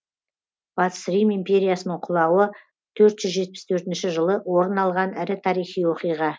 батыс рим империясының құлауы төрт жүз жетпіс төртінші жылы орын алған ірі тарихи оқиға